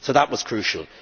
So that was crucial.